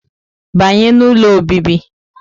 Banye n'ụlọ obibi!